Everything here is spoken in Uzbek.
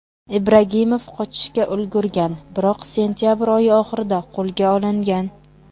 Ibragimov qochishga ulgurgan, biroq sentabr oyi oxirida qo‘lga olingan.